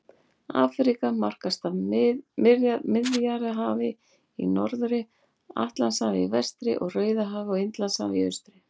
Afríka markast af Miðjarðarhafi í norðri, Atlantshafi í vestri, Rauðahafi og Indlandshafi í austri.